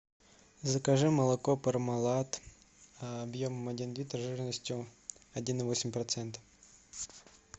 закажи молоко пармалат объем один литр жирностью один и восемь процентов